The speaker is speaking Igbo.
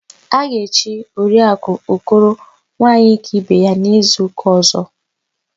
A ga-echi Oriakụ Okoro Nwaanyịkaibeya n'izuụka ọ̀zọ́.